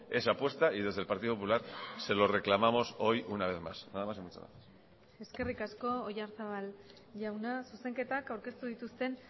esa apuesta y desde el partido popular se lo reclamamos hoy una vez más nada más y muchas gracias eskerrik asko oyarzabal jauna zuzenketak aurkeztu dituzten